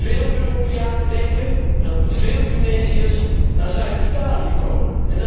Veel Europeanen denken dat veel Tunesiërs naar Zuid Italië komen.